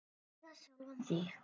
Eða sjálfan þig.